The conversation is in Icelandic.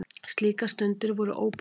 Slíkar stundir voru óbærilegar.